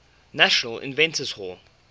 national inventors hall